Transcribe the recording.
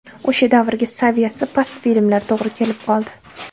O‘sha davrga saviyasi past filmlar to‘g‘ri kelib qoldi.